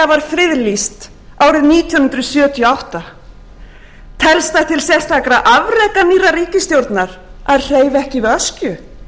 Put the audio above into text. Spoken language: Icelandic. friðlýst árið nítján hundruð sjötíu og átta telst það til sérstakra afreka nýrrar ríkisstjórnar að hreyfa ekki við öskju